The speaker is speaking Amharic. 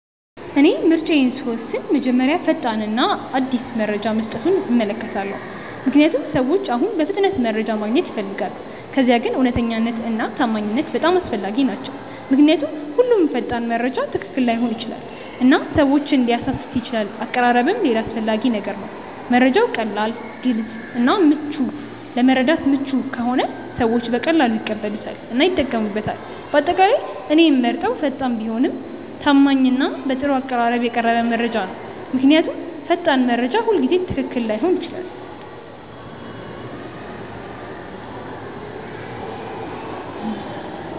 እኔ ምርጫዬን ስወስን መጀመሪያ ፈጣን እና አዲስ መረጃ መስጠቱን እመለከታለሁ፣ ምክንያቱም ሰዎች አሁን በፍጥነት መረጃ ማግኘት ይፈልጋሉ። ከዚያ ግን እውነተኛነት እና ታማኝነት በጣም አስፈላጊ ናቸው ምክንያቱም ሁሉም ፈጣን መረጃ ትክክል ላይሆን ይችላል እና ሰዎችን ሊያሳስት ይችላል አቀራረብም ሌላ አስፈላጊ ነገር ነው፤ መረጃው ቀላል፣ ግልጽ እና ለመረዳት ምቹ ከሆነ ሰዎች በቀላሉ ይቀበሉታል እና ይጠቀሙበታል። በአጠቃላይ እኔ የምመርጠው ፈጣን ቢሆንም ታማኝ እና በጥሩ አቀራረብ የቀረበ መረጃ ነው። ምክንያቱም ፈጣን መረጃ ሁልጊዜ ትክክል ላይሆን ይችላል።